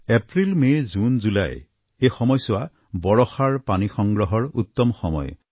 April May June July এই সময়ছোৱা বৰষাৰ পানী সংগ্ৰহৰ উত্তম সময়